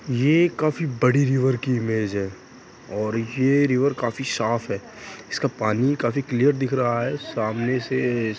ये काफी बड़ी रिवर की इमेज है और ये रिवर काफी साफ़ है| इसका पानी काफी क्लियर दिख रहा है सामने से |